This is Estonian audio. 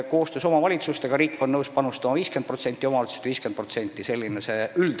Koostöös oleks riik nõus panustama 50% ja omavalitsused 50% – selline on üldreegel.